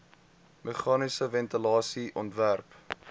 meganiese ventilasie ontwerp